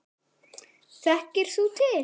Þekkir þú til?